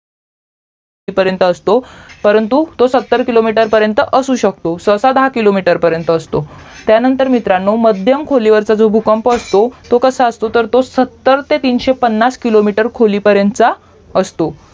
किती पर्यंत असतो परंतु तो सत्तर KILOMETRE पर्यंत असू शकतो सहसा दहा KILOMETRE पर्यंत असतो त्यानंतर मित्रानो माध्यम खोलीवरचा जो भूकंप असतो तो कसा असतो तर तो सत्तर ते तीनशे पन्नास KILOMETRE खोली पर्यंतच असतो